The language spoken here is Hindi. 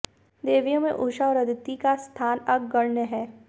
देवियों में उषा और अदिति का स्थान अग्रगण्य है